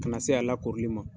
Ka na se a lakorili ma.